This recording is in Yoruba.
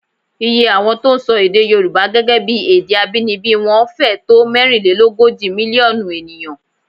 Iye àwọn tí ń sọ èdè Yorùbá gẹ́gẹ́ bí èdè abínibí wọn fẹ́ẹ̀ tó mẹ́rinlélógójì mílíọ̀nù ènìyàn